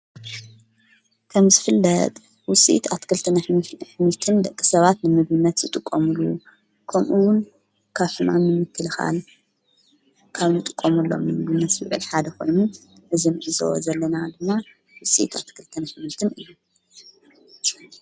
ከም ዝፍለጥ ውሢት ኣትክልትን ሕምልትን ደቂ ሰባት ንምብነት ጥቖሙሉ ኮምኡውን ካፍናን ንምክልኻል ካብ ን ጥቆሙሎም ምብነት ስበድ ሓደ ኾይሙ ብዝም እዝወ ዘለና ድማ ውሲት ኣትክልተን ኅምልትን እዩን::